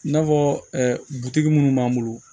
I n'a fɔ butigi minnu b'an bolo